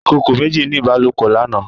Ìkòkò méjì ní ìbálòpọ̀ lánàá.